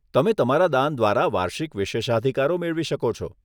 તમે તમારા દાન દ્વારા વાર્ષિક વિશેષાધિકારો મેળવી શકો છો.